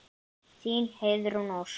Þín, Heiðrún Ósk.